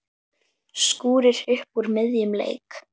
Skúrir upp úr miðjum leik.